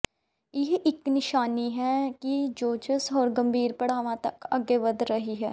ਇਹ ਇੱਕ ਨਿਸ਼ਾਨੀ ਹੈ ਕਿ ਸੋਜਸ਼ ਹੋਰ ਗੰਭੀਰ ਪੜਾਵਾਂ ਤੱਕ ਅੱਗੇ ਵਧ ਰਹੀ ਹੈ